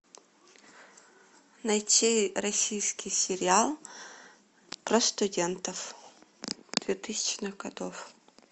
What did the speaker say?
найти российский сериал про студентов двухтысячных годов